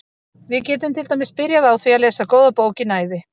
Við getum til dæmis byrjað á því að lesa góða bók í næði.